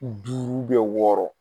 Duuru wɔɔrɔ.